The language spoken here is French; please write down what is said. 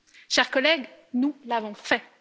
Chers collègues, nous l'avons fait!